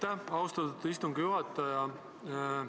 Aitäh, austatud istungi juhataja!